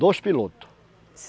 Dois pilotos.